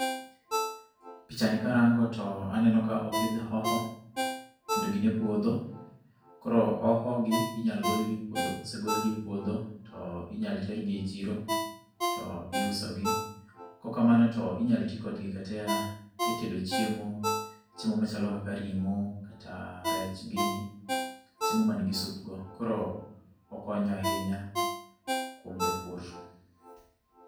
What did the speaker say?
Picha ni karango to aneno ka opidh hoho kendo gin e puodho. Koro hoho gi inyalo gol gi e puodho . Kosegol gi e puodho to inyalo ter gi e chiro to iuso gi. Kok kamano to inyalo ti kodgi kata e tedo chiemo. Chiemo machalo kaka ring'o, kata rech gini. Chiemo ma nigi sup go. Koro okonyo ahinya kuom japur.